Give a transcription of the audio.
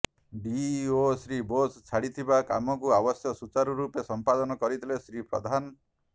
DEO Shri Bose ଛାଡିଥିବା କାମକୁ ଅବଶ୍ୟ ସୁଚାରୁ ରୂପେ ସମ୍ପାଦକ କରିଥିଲେ ଶ୍ରୀ ପ୍ରଧାନ